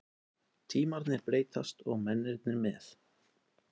Tímarnir breytast og mennirnir með.